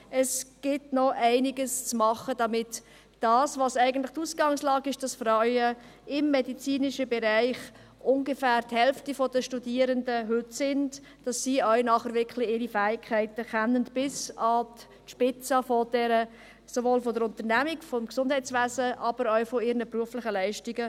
Es gibt noch einiges zu tun, damit die Ausgangslage – im medizinischen Bereich machen heute die Frauen ungefähr die Hälfte der Studierenden aus – stimmt, damit sie ihre Fähigkeiten bis an die Spitze der Unternehmung im Gesundheitswesen einbringen können, aber auch ihre beruflichen Leistungen.